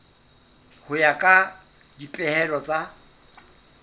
ho ya ka dipehelo tsa